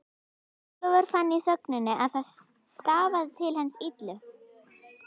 Ólafur fann í þögninni að það stafaði til hans illu.